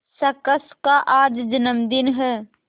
शख्स का आज जन्मदिन है